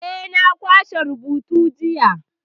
Eh, na kwashe rubutun jiya.